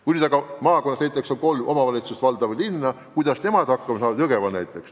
Kui aga maakonnas on näiteks kolm omavalitsust, valda või linna, kuidas siis nemad hakkama saavad?